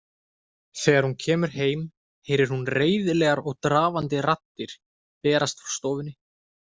Þegar hún kemur heim heyrir hún reiðilegar og drafandi raddir berast frá stofunni.